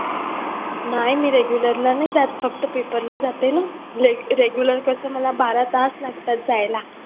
नाही मी regular नाही जात फक्त paper जाते ना regular कसं मला बारा तास लागतात जायला